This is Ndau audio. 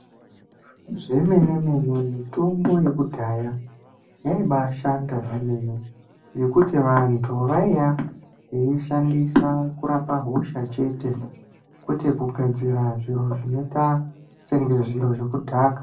Zvemene mene mitombo yekudhaya yaibaashanda zvemene ngekuti vantu vaiya veishandisa kurapa hosha chete kwete kugadzira zviro zvinoita senge zviro zvekudhaka.